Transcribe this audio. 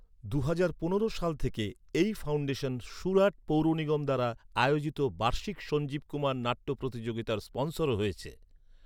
দুহাজার পনেরো সাল থেকে এই ফাউন্ডেশন সুরাট পৌরনিগম দ্বারা আয়োজিত বার্ষিক সঞ্জীব কুমার নাট্য প্রতিযোগিতার স্পনসরও হয়েছে।